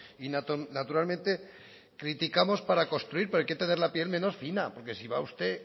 y naturalmente criticamos para construir pero hay que tener la piel menos fina porque si va a usted